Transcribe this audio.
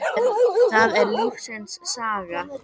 það er lífsins saga.